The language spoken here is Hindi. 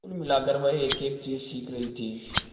कुल मिलाकर वह एकएक चीज सीख रही थी